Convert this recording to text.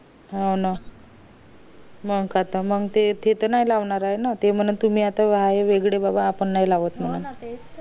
हा ना मंग काय त ते त नाय लावणार ये ना ते म्हणणं आता तुम्ही आहे वेगळे बगा आपण नाही लावत ये